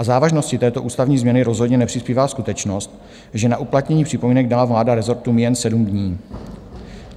K závažnosti této ústavní změny rozhodně nepřispívá skutečnost, že na uplatnění připomínek dala vláda rezortům jen 7 dní.